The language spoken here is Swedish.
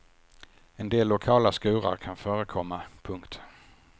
En del lokala skurar kan förekomma. punkt